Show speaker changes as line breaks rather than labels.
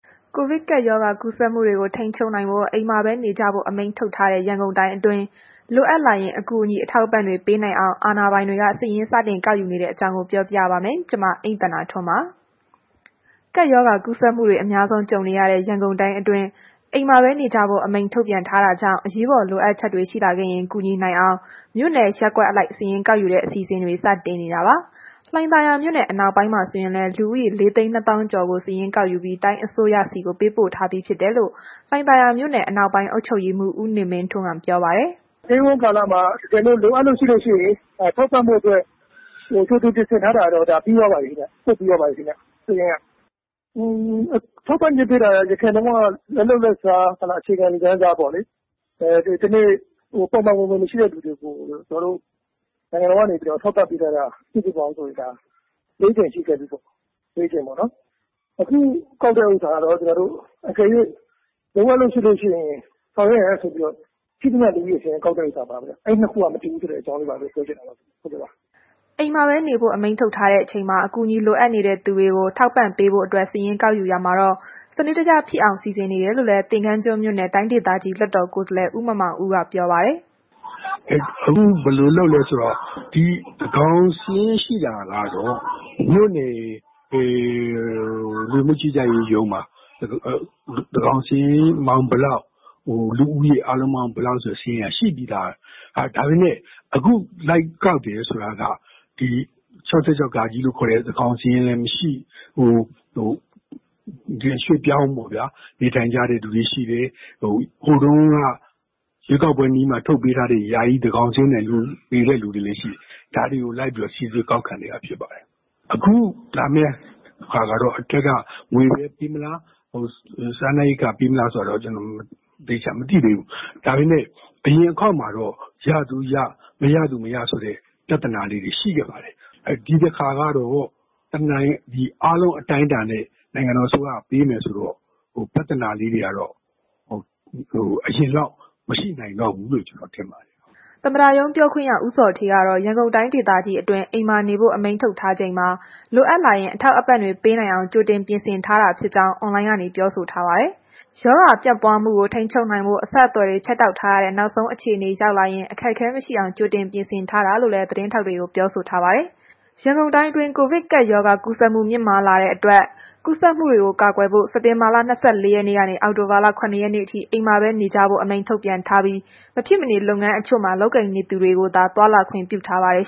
ကိုဗစ်ကပ်ရောဂါ ကူးစက်မှုတွေကို ထိန်းချုပ်ဖို့ အိမ်မှာပဲ နေကြဖို့ အမိန့်ထုတ်ထားတဲ့ ရန်ကုန်တိုင်းအတွင်း လိုအပ်လာရင် အကူအညီ အထောက်အပံ့တွေ ပေးနိုင်အောင် အာဏာပိုင်တွေ စတင်စာရင်းကောက်ယူနေတဲ့အကြောင်းကို ဗွီအိုအေမြန်မာပိုင်းသတင်းထောက် မအိမ့်သန္တာထွန်းက ပြောပြပေးပါမယ်။ ကပ်ရောဂါ ကူးစက်မှုတွေ အများဆုံး ကြုံနေရတဲ့ ရန်ကုန်တိုင်းအတွင်း အိမ်မှာပဲနေကြဖို့ အမိန့်ထုတ်ပြန်ထားတာကြောင့် အရေးပေါ်လိုအပ်ချက်တွေ ရှိလာခဲ့ရင် ကူညီနိုင်အောင် မြို့နယ်၊ ရပ်ကွက်အလိုက် စာရင်းကောက်ယူတဲ့ အစီအစဉ်တွေ စတင်နေတာပါ။ လှိုင်သာယာမြို့နယ် အနောက်ပိုင်းမှာ ဆိုရင်လည်း လူဦးရေ ၄၂၀,၀၀၀ ကျော်ကို စာရင်းကောက်ယူပြီး တိုင်းအစိုးရဆီကို ပေးပို့ထားပြီးဖြစ်တယ်လို့ လှိုင်သာယာမြို့နယ် အနောက်ပိုင်းအုပ်ချုပ်ရေးမှူး ဦးနေမင်းထွန်းက ပြောပါတယ်။ “Stay
at Home ကာလမှာ လိုအပ်လို့ရှိရင် ထောက်ပံ့
ဖို့အတွက် ကြိုတင်ပ
ြင်ဆင်ထားတာကတော့ ဒါပြီးသွားပါပြီပေါ့။ ပို့ပြီးသွားပါပြီ စာရင်းက။ ထောက်ပံ့ကြေးပေးတာက အရင်လက်လုပ်လက်စား အခြေခံလူတန်းစားပေါ့လေ၊ ပုံမှန်ဝင်ငွေ မရှိတဲ့သူတွေကို ကျနော်တို့ နိုင်ငံတော်ကနေ ထောက်ပံ့ပေးထားတာ စုစုပေါင်းဆိုရင်ဒါ ၄ ကြိမ်ရှိခဲ့ပြီပေါ့။ အခုကောက်တဲ့ ဥစ္စာကလည်း အကယ်၍ လိုအပ်လို့ရှိရင် ဆောင်ရွက်ရန်ဆိုပြီးတော့ ရှိသမျှလူဦးရေစာရင်းကောက်လိုက်တာပါ။ အဲ့ဒီနှစ်ခု မတူဘူးဆိုတာလေး ပြောချင်ပါတယ်။
” အိမ်မှာပဲနေဖို့ အမိန့်ထုတ်ထားတဲ့အချိန်မှာ အကူအညီ လိုအပ်တဲ့သူတွေကို ထောက်ပံ့ပေးဖို့အတွက် စာရင်းကောက်ယူရာမှာတော့ စနစ်တကျဖြစ်အောင် စီစဉ်နေတယ်လို့လည်း သင်္ဃန်းကျွန်းမြို့နယ် တိုင်းဒေသကြီး လွှတ်တော်ကိုယ်စားလှယ် ဦးမောင်မောင်ဦးက ပြောပါတယ်။
“အခုဘယ်လိုလုပ်လဲဆိုတော့ သန်းခေါင်စာရင်းရှိတာကတော့ လူဝင်မှုကြီးကြပ်ရေးရုံးမှာ သန်းခေါင်စာရင်း ပေါင်းဘယ်လောက်၊ လူဦးရေဘယ်လောက် ဆိုတဲ့ စာရင်းက ရှိပြီးသားပဲ။ ဒါပေမယ့် အခုလိုက် ကောက်နေတယ်ဆိုတာက ဒီသန်းခေါင်စာရင်းလည်း မရှိ၊ ရွှေ့ပြောင်းပေါ့ဗျာ။ နေထိုင်ကြတဲ့သူတွေ ရှိတယ်။ ဟိုတုန်းက ရွေးကောက်ပွဲနီးတော့မှ ထုတ်ပေးထားတဲ့ ယာယီသန်းခေါင်စာရင်းနဲ့ နေတဲ့သူတွေလည်းရှိတယ်။ ဒါတွေကို လိုက်ပြီးတော့ စိစစ်ကောက်ခံနေတာဖြစ်ပါတယ်။ အခုဟာကတော့ အထက်က ငွေပဲပေးမလား၊ စားနပ်ရိက္ခာပေးမလားဆိုတာတော့ ကျနော်တို့ အတိအကျမသိသေးဘူး။ ဒါပေမဲ့ အရင်အခေါက်မှာတော့ ရသူရ၊ မရသူမရဆိုတဲ့ ပြဿနာလေးတွေ ရှိခဲ့ပါတယ်။ ဒီတစ်ခါတော့ အားလုံးအတိုင်းအတာနဲ့ နိုင်ငံတော်အစိုးရက ပေးမယ်ဆိုတော့ ပြဿနာလေးတွေကတော့ အရင်လောက်မရှိနိုင်တော့ဘူးလို့ ကျန
ော်ထင်တယ်
။” သမ္မတရုံးပြောခွင့်ရ ဦးဇော်ဌေးကတော့ ရန်ကုန်တိုင်းဒေသကြီးအတွင်း အိမ်မှာနေဖို့ အမိန့်ထုတ်ထားချိန်မှာ လိုအပ်ရင် အထောက်အပံ့တွေ ပေးနိုင်အောင် ကြိုတင်ပြင်ဆင်ထားတာဖြစ်ကြောင်း အွန်လိုင်းကနေ ပြောဆိုထားပါတယ်။ ရောဂါပြန်ပွားမှုကို ထိန်းချုပ်နိုင်ဖို့ အဆက်အသွယ်တွေ ဖြတ်တောက်ထားရတဲ့ နောက်ဆုံးအခြေအနေ ရောက်လာရင် အခက်အခဲမရှိအောင် ကြိုတင်ပြင်ဆင်ထားတာလို့လည်း သတင်းထောက်တွေကို ပြောဆိုထားပါတယ်။ ရန်ကုန်တိုင်းအတွင်း ကိုဗစ်ကပ်ရောဂါ ကူးစက်မှု မြင့်မားလာတဲ့အတွက် ကူးစက်မှုတွေကို ကာကွယ်ဖို့ စက်တင်ဘာလ ၂၄ ရက်နေ့ကနေ အောက်တိုဘာလ ၇ ရက်နေ့အထိ နေအိမ်မှာပဲ နေကြဖို့ အမိန့်ထုတ်ပြန်ထားပြီး၊ မဖြစ်မနေလုပ်ငန်းတချို့မှာ လုပ်ကိုင်နေသူတွေကိုသာ သွားလာခွင့်ပြုထားပါတယ်